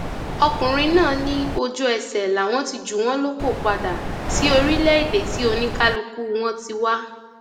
ọkùnrin náà ní ojúẹsẹ làwọn ti jù wọn lóko padà sí orílẹèdè tí oníkálùkù wọn ti wá